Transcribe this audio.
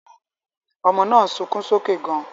Ọmọ náà ń sunkún sókè gan-an